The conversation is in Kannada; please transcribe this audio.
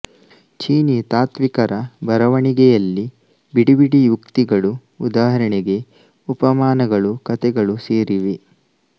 ಚೀನೀ ತಾತ್ತ್ವಿಕರ ಬರೆವಣಿಗೆಯಲ್ಲಿ ಬಿಡಿಬಿಡಿ ಉಕ್ತಿಗಳು ಉದಾಹರಣೆಗೆ ಉಪಮಾನಗಳು ಕತೆಗಳು ಸೇರಿವೆ